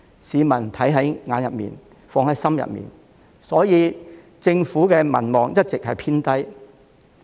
市民看在眼裏，放在心裏，所以政府的民望一直低迷。